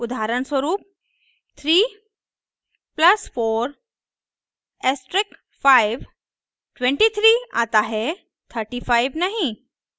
उदाहरणस्वरूप 3 + 4 * 5 23 आता है 35 नहीं